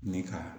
Ne ka